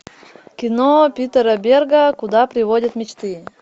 кино питера берга куда приводят мечты